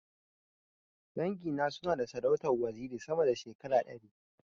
Dangi na suna na da sarautar waziri sama da shekara ɗari.